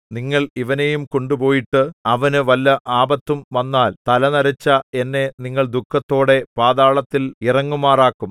നിങ്ങൾ ഇവനെയും കൊണ്ടുപോയിട്ട് അവനു വല്ല ആപത്തും വന്നാൽ തലനരച്ച എന്നെ നിങ്ങൾ ദുഃഖത്തോടെ പാതാളത്തിൽ ഇറങ്ങുമാറാക്കും